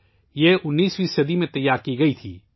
یہ 19ویں صدی میں تیار کی گئی تھا